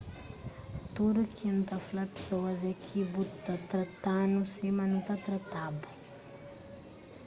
tudu ki n ta fla pesoas é ki bu ta trata-nu sima nu ta trata-bu